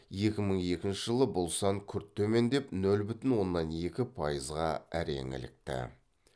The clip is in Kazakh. екі мың екінші жылы бұл сан күрт төмендеп нөл бүтін оннан екі пайызға әрең ілікті